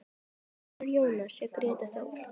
Sonur Jóns er Grétar Þór.